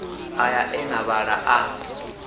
aya e na vhala a